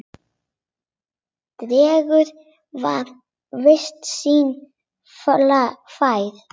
Drengur var viti sínu fjær.